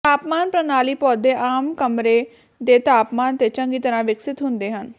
ਤਾਪਮਾਨ ਪ੍ਰਣਾਲੀ ਪੌਦੇ ਆਮ ਕਮਰੇ ਦੇ ਤਾਪਮਾਨ ਤੇ ਚੰਗੀ ਤਰ੍ਹਾਂ ਵਿਕਸਤ ਹੁੰਦੇ ਹਨ